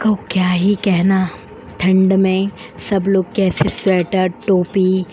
को क्या ही कहना। ठंड में सब लोग कैसे स्वेटर टोपी --